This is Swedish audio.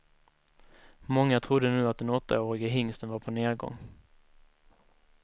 Många trodde nu att den åttaårige hingsten var på nergång.